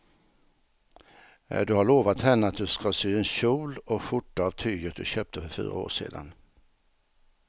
Du har lovat henne att du ska sy en kjol och skjorta av tyget du köpte för fyra år sedan.